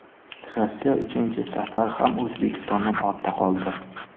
Rossiya uchinchi safar ham O‘zbekistondan ortda qoldi.